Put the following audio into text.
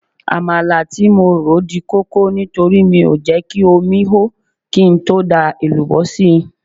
Àmàlà tí mo rò dí kókó nítorí mi ò jẹ́ kí omi ó kí n tó da èlùbọ́ sí i